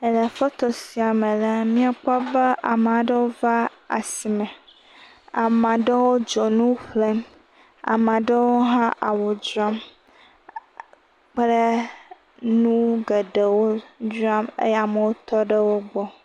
Le foto sia me la, míakpɔ be amea ɖewo va asime, amea ɖewo dzonu ƒlem, amea ɖewo hã awu dzram kple nu geɖewo eye amewo tɔ ɖe wo gbɔ.